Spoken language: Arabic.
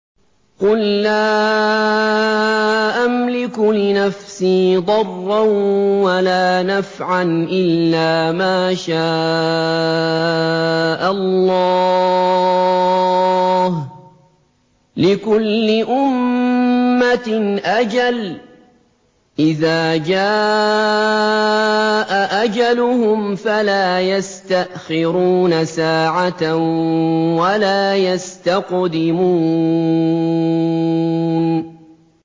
قُل لَّا أَمْلِكُ لِنَفْسِي ضَرًّا وَلَا نَفْعًا إِلَّا مَا شَاءَ اللَّهُ ۗ لِكُلِّ أُمَّةٍ أَجَلٌ ۚ إِذَا جَاءَ أَجَلُهُمْ فَلَا يَسْتَأْخِرُونَ سَاعَةً ۖ وَلَا يَسْتَقْدِمُونَ